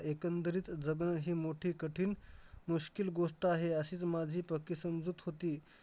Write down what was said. एकंदरीत जगणं हे मोठे कठीण गोष्ट आहे, अशीच माझी प्रतिसमजूत होती.